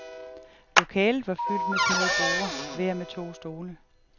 Lokalet var fyldt med små borde, hver med to stole.